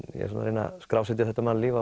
er að reyna að skrásetja þetta mannlíf